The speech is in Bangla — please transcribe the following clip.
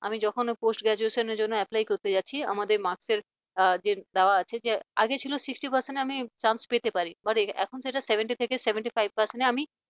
আমি যখন post graduation র জন্য apply করতে যাচ্ছি আমাদের marks এর যে দেওয়া আছে যে আগে ছিল sixty percent আমি chance পেতে পারি but এখন সেটা seventy থেকে seventy five percent এ আমি